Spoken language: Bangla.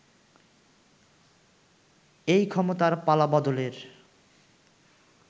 এই ক্ষমতার পালা-বদলের